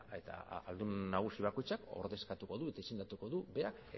eta ahaldun nagusi bakoitzak ordezkatuko du eta izendatuko du berak